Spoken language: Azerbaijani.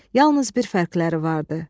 Yalnız bir fərqləri vardı.